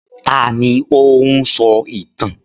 Ta ni ó ń sọ ìtàn?